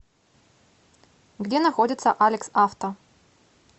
где находится алекс авто